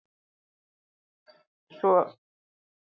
Svo held ég laust í hönd hennar og hugsa um stund.